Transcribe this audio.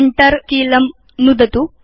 Enter कीलं नुदतु